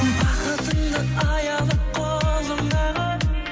бақытыңды аялап қолыңдағы